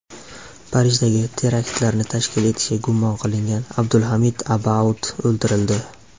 Parijdagi teraktlarni tashkil etishda gumon qilingan Abdulhamid Abaud o‘ldirildi.